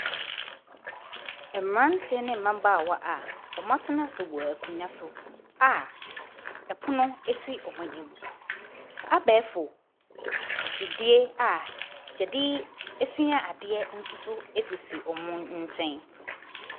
Mmeranteɛ ne mmabaawaa a wɔatena ase wɔ akonnwa so a ɛpono si wɔn anim. Abɛɛfo mfidie a wɔde sua adeɛ nso so sisi wɔn nkyɛn.